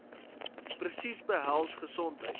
presies behels gesondheid